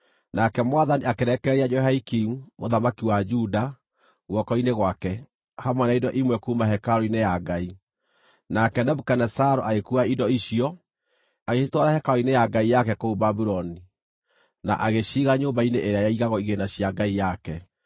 Nake Mwathani akĩrekereria Jehoiakimu, mũthamaki wa Juda, guoko-inĩ gwake, hamwe na indo imwe kuuma hekarũ-inĩ ya Ngai. Nake Nebukadinezaru agĩkuua indo icio, agĩcitwara hekarũ-inĩ ya ngai yake kũu Babuloni, na agĩciiga nyũmba-inĩ ĩrĩa yaigagwo igĩĩna cia ngai yake.